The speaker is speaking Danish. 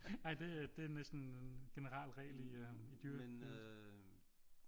Nej det er næsten en generel regel i dyreriget